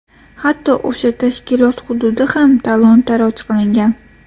Hatto o‘sha tashkilot hududi ham talon-toroj qilingan.